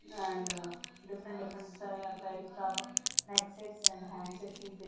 And different different types of neck sets and handsets is there.